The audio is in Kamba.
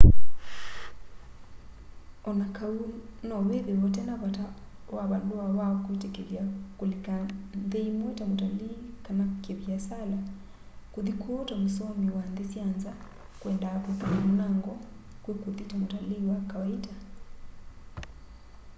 o na kau no withiwe utena vata wa valua wa kwitikilya kulika nthi imwe ta mutalii kana ki viasala kuthi kuu ta musomi wa nthi sya nza kwendaa kwikala munango kwi kuthi ta mutalii wa kawaita